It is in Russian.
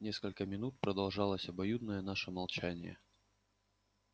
несколько минут продолжалось обоюдное наше молчание